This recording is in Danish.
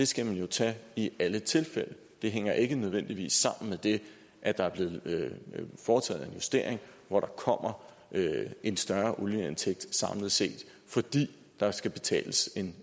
skal man jo tage i alle tilfælde det hænger ikke nødvendigvis sammen med det at der er blevet foretaget en justering hvor der kommer en større olieindtægt samlet set fordi der skal betales